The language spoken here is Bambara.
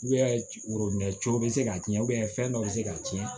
worobinɛ cogo bɛ se ka ci fɛn dɔ bɛ se k'a tiɲɛ